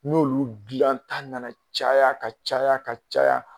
N'olu dilan ta nana caya ka caya ka caya